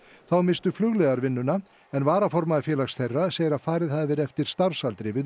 þá misstu flugliðar vinnuna en varaformaður félags þeirra segir að farið hafi verið eftir starfsaldri við